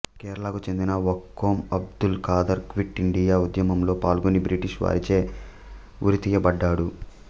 కేరళకు చెందిన Vakkom Abdul Khader quit India ఉద్యమంలో పాల్గొని బ్రిటిష్ వారిచే ఉరితీయబడ్డాడు